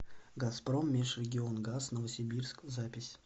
газпром межрегионгаз новосибирск запись